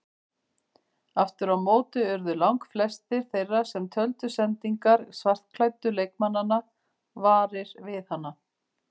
Aftur á móti urðu langflestir þeirra sem töldu sendingar svartklæddu leikmannanna varir við hana.